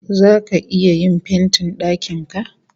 Zaka iya yin fentin dakin ka?